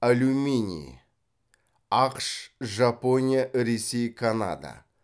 алюминий ақш жапония ресей канада